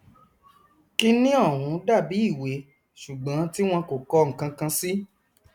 kíni ọhún dàbí ìwé ṣùgbọn tí wọn kò kọ nkankan sí